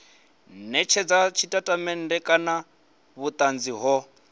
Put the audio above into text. netshedza tshitatamennde kana vhutanzi ho